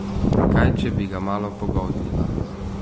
Kaj, če bi ga malo pogoltnila?